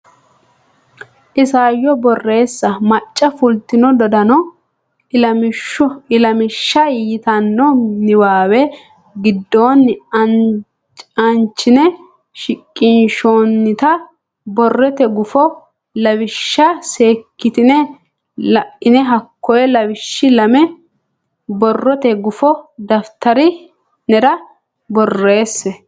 Isayyo Borreessa Macca fultino dodaano ilamishsha yitanno niwaawe giddonni aanchine shiqinshoonnita borrote gufo lawishsha seekkitine la ine hakko lawishshi lame borrote gufo daftari nera borreesse.